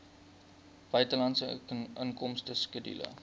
buitelandse inkomste skedule